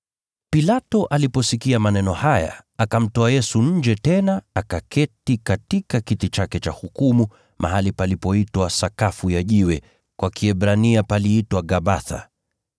Pilato aliposikia maneno haya akamtoa Yesu nje tena akaketi katika kiti chake cha hukumu, mahali palipoitwa Sakafu ya Jiwe, kwa Kiebrania paliitwa Gabatha